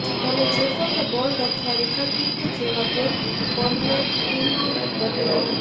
તમે જોશો કે બોલ્ડ અથવા રેખાંકિત જેવા કોઈ ફોર્મેટિંગ બટનો નથી